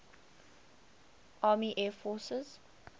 army air forces